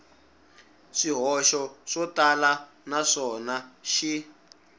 swihoxo swo tala naswona xi